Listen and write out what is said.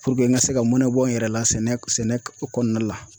Puruke n ka se ka mɔnɛn bɔ n yɛrɛ la sɛnɛ sɛnɛ kɔɔna la.